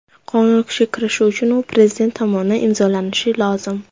Qonun kuchga kirishi uchun u Prezident tomonidan imzolanishi lozim.